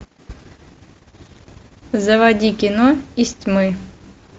заводи кино из тьмы